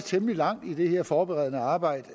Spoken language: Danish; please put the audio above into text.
temmelig langt i det her forberedende arbejde